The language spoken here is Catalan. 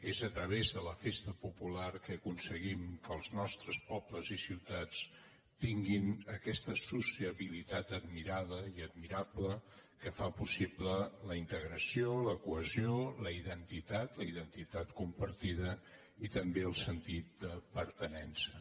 és a través de la festa popular que aconseguim que els nostres pobles i ciu·tats tinguin aquesta sociabilitat admirada i admirable que fa possible la integració la cohesió la identitat la identitat compartida i també el sentit de pertinença